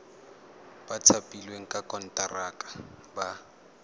ba thapilweng ka konteraka ba